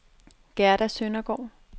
Gerda Søndergaard